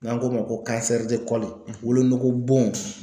N'an k'o ma ko wolonugu bon